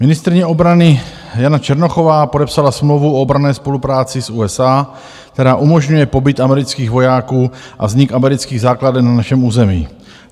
Ministryně obrany Jana Černochová podepsala smlouvu o obranné spolupráci s USA, která umožňuje pobyt amerických vojáků a vznik amerických základen na našem území.